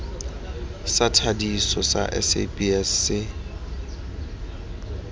sa thadiso sa sabs se